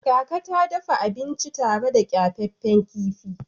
Kaka ta dafa abinci tare da kyafaffen kifi.